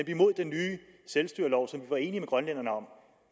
imod den nye selvstyrelov som vi var enige med grønlænderne om